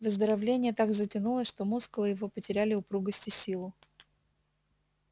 выздоровление так затянулось что мускулы его потеряли упругость и силу